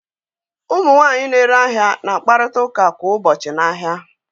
Ụmụ nwanyị na-ere ahịa na-akparịta ụka kwa ụbọchị n'ahịa.